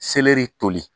Seleri toli